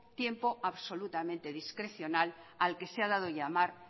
tiempo absolutamente discrecional al que se ha dado llamar